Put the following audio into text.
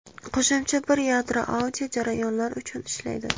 Qo‘shimcha bir yadro audio jarayonlar uchun ishlaydi.